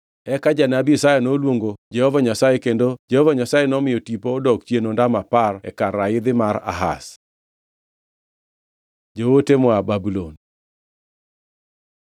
Eka janabi Isaya noluongo Jehova Nyasaye kendo Jehova Nyasaye nomiyo tipo odok chien ondamo apar e kar raidhi mar Ahaz. Joote moa Babulon